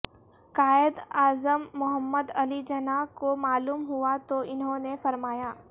قائد اعظم محمد علی جناح کو معلوم ہوا تو انہوں نے فرمایا